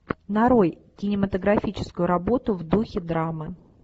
нарой кинематографическую работу в духе драмы